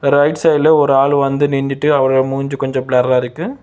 Right சைடுல ஒரு ஆளு வந்து நின்டுட்டு அவரோட மூஞ்சி கொஞ்சோ பிளர்ரா இருக்கு.